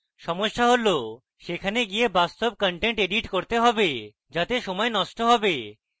সমস্যা হল সেখানে গিয়ে বাস্তব content edit করতে have যাতে সময় নষ্ট have